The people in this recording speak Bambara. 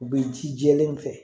U bɛ ji jɛlen kɛ